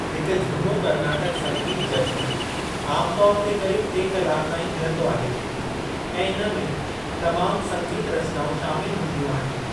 हिकु जूनो कर्नाटक संगीत जश्‍न आमतौर ते करीब टे कलाक ताईं हलंदो आहे, ऐं इनमें तमाम संगीत रचनाउं शामिल हूंदियूं आहिनि।